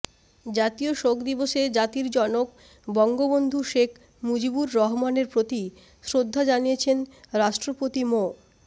জাতীয় শোক দিবসে জাতির জনক বঙ্গবন্ধু শেখ মুজিবুর রহমানের প্রতি শ্রদ্ধা জানিয়েছেন রাষ্ট্রপতি মো